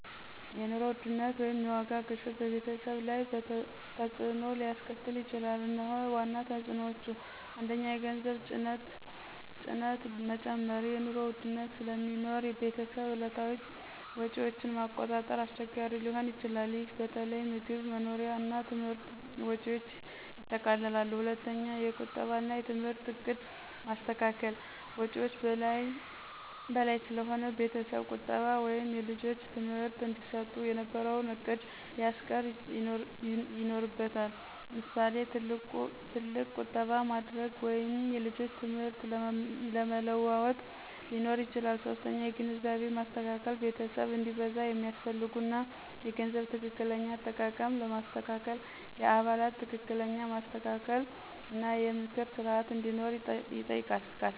የኑሮ ውድነት (የዋጋ ግሽበት) በቤተሰብ ላይ በተፅዕኖ ሊያስከትል ይችላል፤ እነሆ ዋና ተፅዕኖዎቹ፦ 1. የገንዘብ ጭነት መጨመር – የኑሮ ውድነት ስለሚኖር ቤተሰብ የዕለታዊ ወጪዎችን ማቆጣጠር አስቸጋሪ ሊሆን ይችላል። ይህ በተለይ ምግብ፣ መኖሪያ እና ትምህርት ወጪዎችን ያጠቃልላል። 2. የቁጠባ እና የትምህርት ዕቅድ ማስተካከል – ወጪዎች በላይ ስለሆነ ቤተሰብ ቁጠባ ወይም ልጆች ትምህርት እንዲሰጡ የነበረውን ዕቅድ ሊያስቀየር ይኖርበታል። ምሳሌ፣ ትልቅ ቁጠባ ማድረግ ወይም የልጆች ትምህርት ለመለዋወጥ ሊኖር ይችላል። 3. የግንዛቤ ማስተካከል – ቤተሰብ እንዲበዛ የሚያስፈልጉ እና የገንዘብ ትክክለኛ አጠቃቀም ለማስተካከል የአባላት ትክክለኛ ማስተካከል እና የምክር ስርዓት እንዲኖር ይጠይቃል።